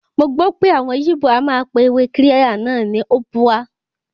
Mọ gbọ́ pé àwọn yíbò a máa pe ewé Kirya náà ní Ubwa.